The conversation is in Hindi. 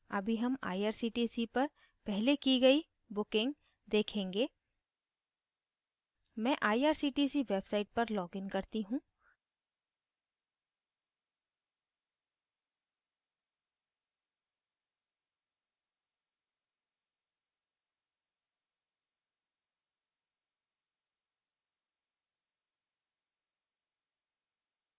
अभी हम irctc पर पहले की गयी bookings देखेंगे मैं irctc website पर login करती हूँ